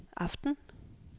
aften